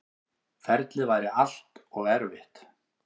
Ferlið væri allt og erfitt.